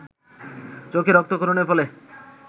চোখে রক্তক্ষরণের ফলে